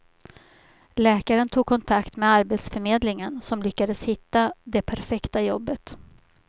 Läkaren tog kontakt med arbetsförmedlingen som lyckades hitta det perfekta jobbet.